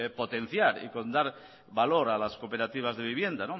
potenciar y dar valor a las cooperativas de vivienda